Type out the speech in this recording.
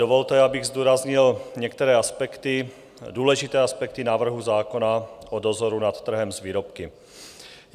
Dovolte, abych zdůraznil některé aspekty, důležité aspekty návrhu zákona o dozoru nad trhem s výrobky.